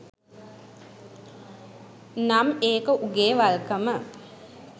නම් ඒක උගෙ වල්කම.